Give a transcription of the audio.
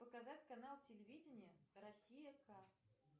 показать канал телевидение россия ка